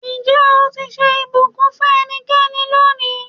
Ǹjẹ́ o ti ṣe ìbùkún fún ẹnikẹ́ni lónìí?